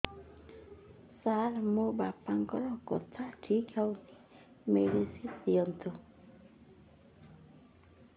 ସାର ମୋର ବାପାଙ୍କର କଥା ଠିକ ହଉନି ମେଡିସିନ ଦିଅନ୍ତୁ